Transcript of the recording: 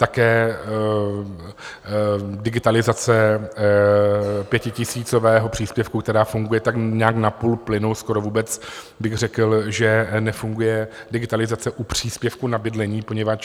Také digitalizace pětitisícového příspěvku, která funguje tak nějak na půl plynu, skoro vůbec bych řekl, že nefunguje digitalizace u příspěvku na bydlení, poněvadž...